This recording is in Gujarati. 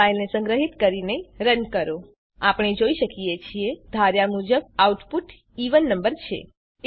હવે ફાઈલને સંગ્રહીત કરીને રન કરો આપણે જોઈ શકીએ છીએ ધાર્યા મુજબ આઉટપુટ એવેન નંબર છે